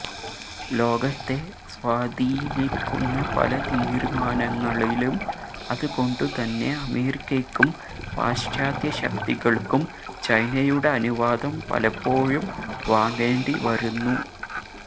ലോകത്തെ സ്വാധീനിക്കുന്ന പല തീരുമാനങ്ങളിലും അതുകൊണ്ടുതന്നെ അമേരിക്കയ്ക്കും പാശ്ചാത്യ ശക്തികൾക്കും ചൈനയുടെ അനുവാദം പലപ്പോഴും വാങ്ങേണ്ടിവരുന്നു